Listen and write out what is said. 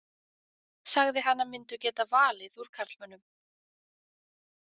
Sagði hana myndu geta valið úr karlmönnum.